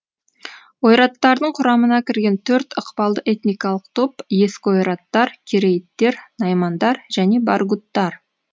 ойраттардың құрамына кірген төрт ықпалды этникалық топ ескі ойраттар керейіттер наймандар және баргуттар